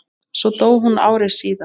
Hún dó svo ári síðar.